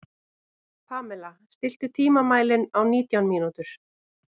Pamela, stilltu tímamælinn á nítján mínútur.